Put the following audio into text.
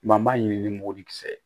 Maa m'a ɲini ni mugan kisɛ ye